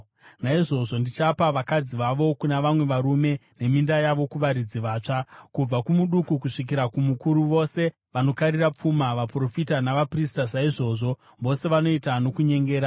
Naizvozvo ndichapa vakadzi vavo kuna vamwe varume, neminda yavo kuvaridzi vatsva. Kubva kumuduku kusvikira kumukuru vose vanokarira pfuma; vaprofita navaprista saizvozvo, vose vanoita nokunyengera.